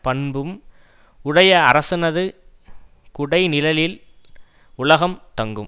பண்பும் உடைய அரசனது குடைநிழலில் உலகம் தங்கும்